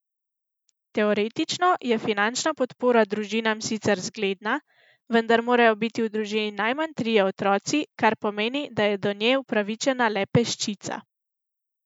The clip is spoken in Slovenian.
Teoretično je finančna podpora družinam sicer zgledna, vendar morajo biti v družini najmanj trije otroci, kar pomeni, da je do nje upravičena le peščica.